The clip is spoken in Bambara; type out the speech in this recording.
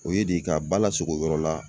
O ye de ka ba lasogo yɔrɔ la